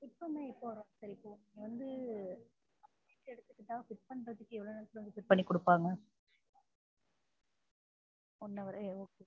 fit பண்ண எப்போ வருவாங்க sir இப்போ வந்து எவ்வளவு நேரத்தில sir fit பண்ணி குடுப்பாங்க one hour ஆ?